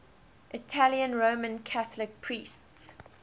italian roman catholic priests